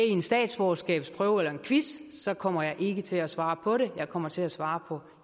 i en statsborgerskabsprøve eller en quiz så kommer jeg ikke til at svare på det jeg kommer til at svare på